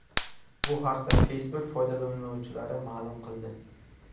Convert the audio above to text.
Bu haqda Facebook foydalanuvchilari ma’lum qildi .